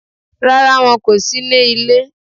Rárá, won kò sí ní ile